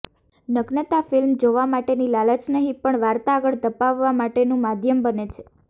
નગ્નતા film જોવા માટેની લાલચ નહિ પણ વાર્તા આગળ ધપાવવા માટેનું માધ્યમ બને છે